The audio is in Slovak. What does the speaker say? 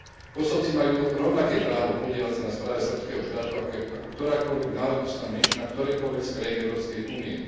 Kosovci majú rovnaké právo podieľať sa na správe srbského štátu, ako ktorákoľvek národnostná menšina v ktorejkoľvek z krajín Európskej únie.